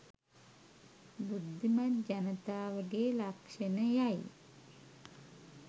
බුද්ධිමත් ජනතාවගේ ලක්‍ෂණයයි.